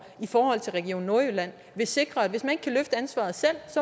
i forhold til region nordjylland vil sikre at hvis man ikke kan løfte ansvaret selv